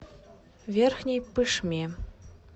верхней пышме